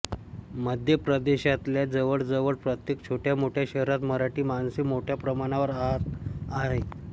मध्य प्रदेशातल्या जवळ जवळ प्रत्येक छोट्या मोठ्या शहरात मराठी माणसे मोठ्या प्रमाणावर राहात आहेत